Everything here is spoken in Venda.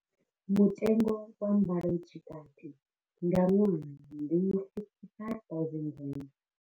Mutengo wa mbalo tshikati nga ṅwaha ndi R55 000.